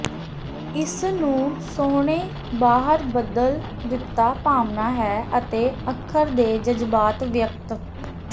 ਇਸ ਨੂੰ ਸੋਹਣੇ ਬਾਹਰ ਬਦਲ ਦਿੱਤਾ ਭਾਵਨਾ ਹੈ ਅਤੇ ਅੱਖਰ ਦੇ ਜਜ਼ਬਾਤ ਵਿਅਕਤ